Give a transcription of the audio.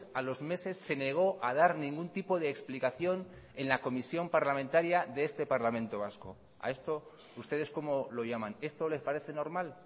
a los meses se negó a dar ningún tipo de explicación en la comisión parlamentaria de este parlamento vasco a esto ustedes cómo lo llaman esto les parece normal